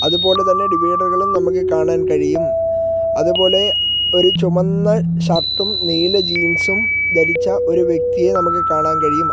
ഇതുപോലെതന്നെ ഡിവൈഡറുകളും നമുക്ക് കാണാൻ കഴിയും അതുപോലെ ഒരു ചുമന്ന ഷർട്ടും നീല ജീൻസും ധരിച്ച ഒരു വ്യക്തിയെ നമുക്ക് കാണാൻ കഴിയും.